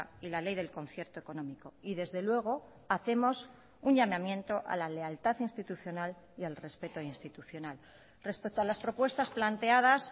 y la ley del concierto económico y desde luego hacemos un llamamiento a la lealtad institucional y al respeto institucional respecto a las propuestas planteadas